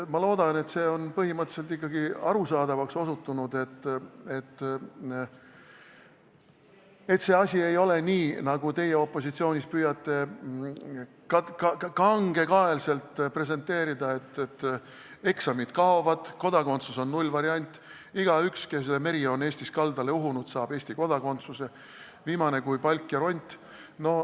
Ma loodan, et on põhimõtteliselt ikkagi arusaadavaks osutunud, et see asi ei ole nii, nagu teie opositsioonis püüate kangekaelselt presenteerida: et eksamid kaovad, kodakondsus on nullvariant, igaüks, kelle meri on Eestis kaldale uhtunud, saab Eesti kodakondsuse, viimane kui palk ja ront.